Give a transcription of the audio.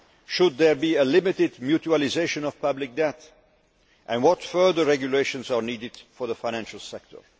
Should there be a limited mutualisation of public debt, and what further regulations are needed for the financial sector?